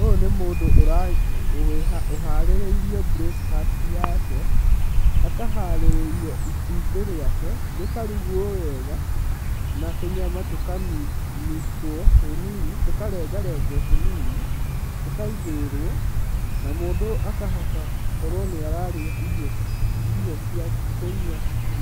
Ũyũ nĩ mũndũ ũharĩrĩirio breakfast yake akaharĩrĩrio itumbĩ rĩake rĩkarugwo wega na tũnyama tukamicitwo tũnini tũkarenga regwo tũnini tũkaigĩrĩrwo na mũndũ ũyũ akahota gũkorwo nĩ ararĩa irio kũnyua